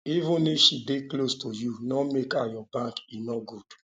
even if she dey close to you no make her your bank e no good